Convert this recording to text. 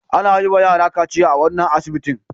Ana yiwa yara kaciya a wannan asibitin.